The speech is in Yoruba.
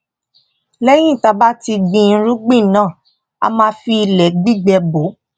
léyìn tá bá ti gbin irúgbìn náà a máa fi ilè gbígbẹ bò